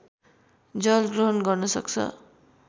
जल ग्रहण गर्न सक्छ